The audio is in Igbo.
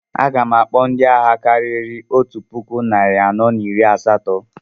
A gam akpọ ndị agha karịrị otu puku narị anọ na iri asatọ